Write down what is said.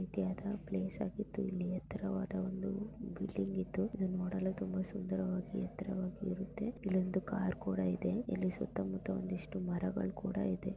ರೀತಿಯಾದ ಪ್ಲೇಸ್ ಆಗಿದ್ದೂ ಇಲ್ಲಿ ಎತ್ತರವಾದ ಒಂದು ಬಿಲ್ಡಿಂಗ್ ಇದ್ದು ಇದು ನೋಡಲು ತುಂಬಾ ಸುಂದರವಾಗಿ ಎತ್ತರವಾಗಿ ಇರುತ್ತೆ. ಇಲ್ಲೊಂದು ಕಾರ್ ಕೂಡ ಇದೆ. ಇಲ್ಲಿ ಸುತ್ತಮುತ್ತಾ ಒಂದಿಷ್ಟು ಮರಗಳ್ ಕೂಡ ಇದೆ.